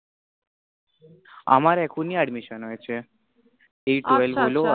আমার এখনি admission হয়েছে আচ্ছা আচ্ছা এই twelve হল